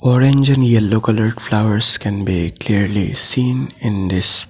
orange and yellow coloured flowers can be clearly scene in this--